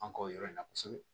An ka o yɔrɔ in na kosɛbɛ